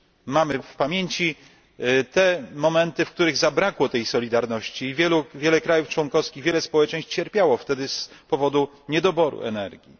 Mamy w pamięci te momenty, w których zabrakło tej solidarności i wiele państw członkowskich, wiele społeczeństw cierpiało wtedy z powodu niedoboru energii.